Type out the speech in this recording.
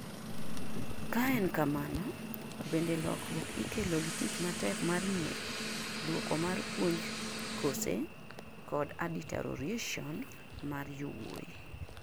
kaa en kamano, bende lokruok ikelo gi tich matek mar nyiri, duoko mar puonj kose kod adeterioration mar yawuoyi